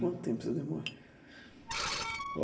Quanto tempo você demora?